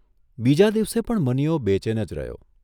બીજા દિવસે પણ મનીયો બેચેન જ રહ્યો.